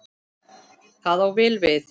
Það á vel við.